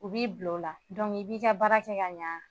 U b'i bila o la i b'i ka baara kɛ ka ɲɛ